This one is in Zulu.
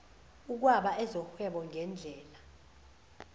ukwaba ezohwebo ngedlela